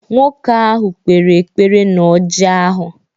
Nwoke ahụ kpere ekpere na ọrji ahụ